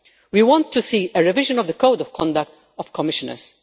We want to see a revision of the Code of Conduct of Commissioners.